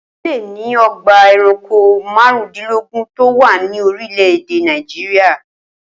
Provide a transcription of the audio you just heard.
Ó lé ní o̩gbà e̩ranko márùndínlógún tó wà ní orílè̩-èdè Nàìjíríà